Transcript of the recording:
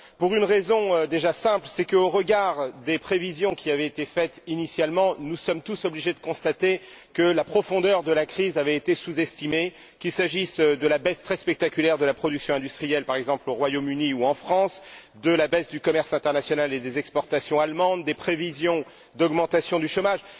Pour une raison déjà simple, c'est qu'au regard des prévisions qui avaient été faites initialement, nous sommes tous obligés de constater que la profondeur de la crise avait été sous estimée, qu'il s'agisse de la baisse très spectaculaire de la production industrielle, par exemple au Royaume Uni ou en France, de la baisse du commerce international et des exportations allemandes ou des prévisions d'augmentation du chômage.